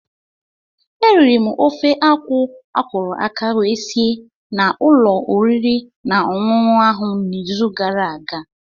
Eriri m ofe akwụ akwọrọ aka wee si na ụlọ oriri na ọṅụṅụ ahụ n'izu gara aga.